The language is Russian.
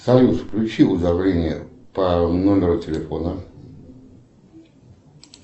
салют включи уведомление по номеру телефона